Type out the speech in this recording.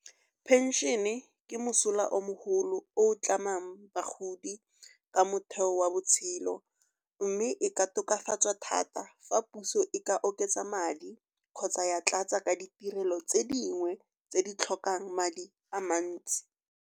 Phenšene ke mosola o mo golo o tlamang bagodi ke motheo wa botshelo. Mme e ka tokafatsa thata fa puso e ka oketsa madi kgotsa ya tlatsa ka ditirelo tse dingwe tse di tlhokang madi a mantsi.